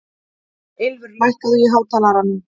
Ylfur, lækkaðu í hátalaranum.